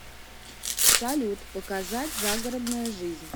салют показать загородная жизнь